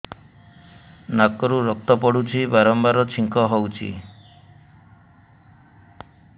ନାକରୁ ରକ୍ତ ପଡୁଛି ବାରମ୍ବାର ଛିଙ୍କ ହଉଚି